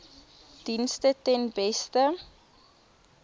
dienste ten beste